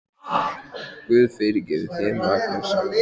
Guð fyrirgefi þér, Magnús, sagði amma.